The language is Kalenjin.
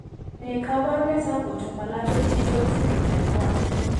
Ne kaabarunetap Oto palato digital syndrome type 1?